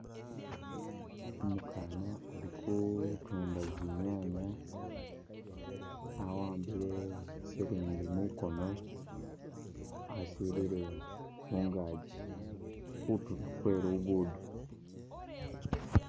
Umukaana ali kutunda zi’nyaanya, awaambile silingi mukono asilile mungaji kutulo mwe lugudo.